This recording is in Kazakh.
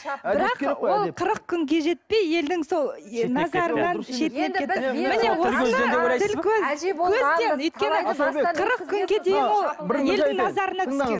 бірақ ол қырық күнге жетпей елдің сол шетінеп кетті